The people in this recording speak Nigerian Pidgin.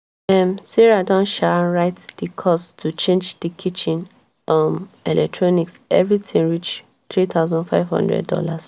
um sarah don um write di cost to change di kitchen um electronics everything reach $3500.